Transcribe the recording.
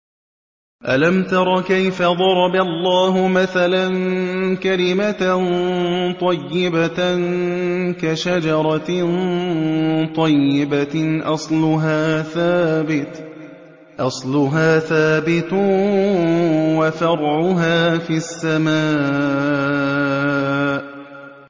أَلَمْ تَرَ كَيْفَ ضَرَبَ اللَّهُ مَثَلًا كَلِمَةً طَيِّبَةً كَشَجَرَةٍ طَيِّبَةٍ أَصْلُهَا ثَابِتٌ وَفَرْعُهَا فِي السَّمَاءِ